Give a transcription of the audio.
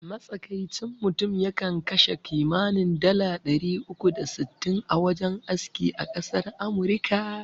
Matsakaicin mutum ya kan kashe kimanin dala ɗari uku da sittin a wajen aski a ƙasar amurika